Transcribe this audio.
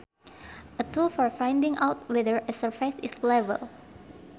A tool for finding out whether a surface is level